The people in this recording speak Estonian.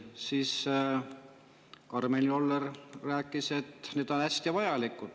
Karmen Joller rääkis siis, et need on hästi vajalikud.